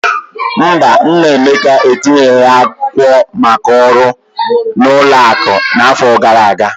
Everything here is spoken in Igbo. Mba, nna Emeka etinyeghị akwụkwọ maka ọrụ na ụlọ akụ n'afọ gara aga.